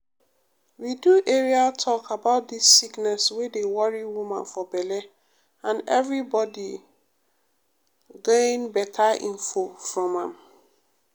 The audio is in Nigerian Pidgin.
we do area talk about dis sickness wey dey worry woman for belle and everybodi gain beta info from am.